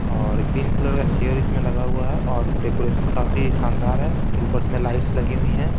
और green colour का chair इसमें लगा हुआ है और डेकोरेशन काफी शानदार है ऊपर इसमें लाइट्स लगी हुई हैं।